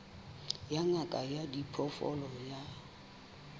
ya ngaka ya diphoofolo ya